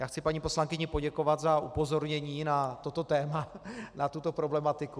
Já chci paní poslankyni poděkovat za upozornění na toto téma, na tuto problematiku.